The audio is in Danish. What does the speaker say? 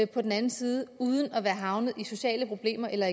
på den anden side uden at være havnet i sociale problemer eller